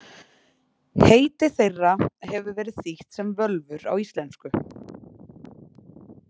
Heiti þeirra hefur verið þýtt sem völvur á íslensku.